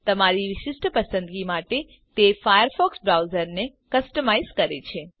તમારી વિશિષ્ટ પસંદગી માટે તે ફાયરફોક્સ બ્રાઉઝરને કસ્ટમાઈઝ કરે છે